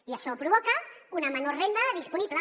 i això provoca una menor renda disponible